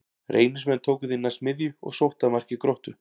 Reynismenn tóku því næst miðju og sóttu að marki Gróttu.